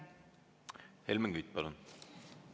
Helmen Kütt, palun!